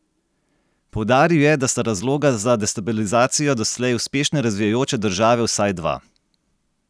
Poudaril je, da sta razloga za destabilizacijo doslej uspešno razvijajoče države vsaj dva.